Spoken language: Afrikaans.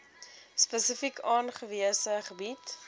spesifiek aangewese gebiede